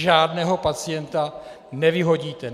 Žádného pacienta nevyhodíte.